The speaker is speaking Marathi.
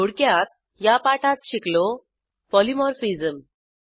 थोडक्यात या पाठात शिकलो पॉलिमॉर्फिझम